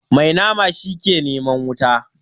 Mai nama shi ke neman wuta.